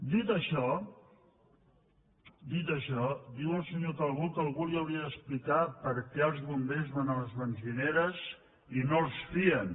dit això dit això diu el senyor calbó que algú li hauria d’explicar per què els bombers van a les benzineres i no els fien